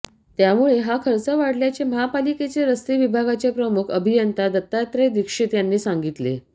त्यामुळे हा खर्च वाढल्याचे महापालिकेचे रस्ते विभागाचे प्रमुख अभियंता दत्तात्रय दीक्षित यांनी सांगितले